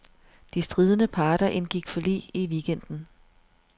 De stridende parter indgik forlig i weekenden.